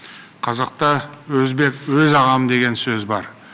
қазақта өзбек өз ағам деген сөз бар